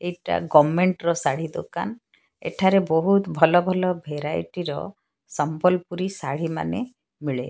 ଏଟା ଗମେଣ୍ଟ୍ ର ଶାଢ଼ୀ ଦୋକାନ୍ ଏଠାରେ ବୋହୁତ୍ ଭଲ-ଭଲ ଭେରାଇଟି ର ସମ୍ବଲପୁରୀ ଶାଢ଼ୀମାନେ ମିଳେ।